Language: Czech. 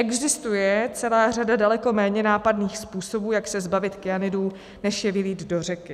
Existuje celá řada daleko méně nápadných způsobů, jak se zbavit kyanidů, než je vylít do řeky.